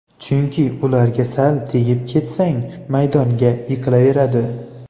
Chunki ularga sal tegib ketsang, maydonga yiqilaveradi.